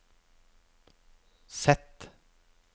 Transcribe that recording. Z